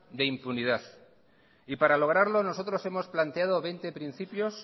de impunidad y para lograrlo nosotros hemos planteado veinte principios